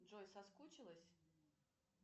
джой соскучилась